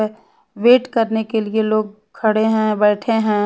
Wait करने के लिए लोग खड़े है बैठे है।